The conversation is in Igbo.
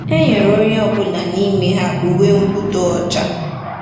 “Enyere onye ọ bụla n’ime ha uwe mwụda ọcha”